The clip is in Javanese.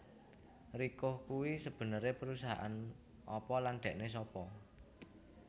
Ricoh kuwi sebenere perusahaan apa lan dhekne sapa